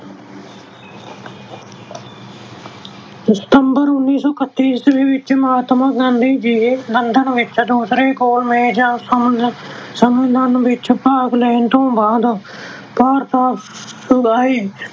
ਸਤੰਬਰ ਉੱਨੀ ਸੌ ਇਕੱਤੀ ਈਸਵੀ ਵਿੱਚ ਮਹਾਤਮਾ ਗਾਂਧੀ ਜੀ London ਵਿੱਚ ਦੂਸਰੇ ਗੋਲ ਮੇਜ਼ ਸੰਮੇਲਨ ਵਿੱਚ ਭਾਗ ਲੈਣ ਤੋਂ ਬਾਅਦ ਭਾਰਤ ਵਾਪਸ ਆਏ।